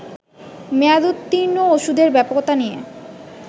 মেয়াদোত্তীর্ন ওষুধের ব্যাপকতা নিয়ে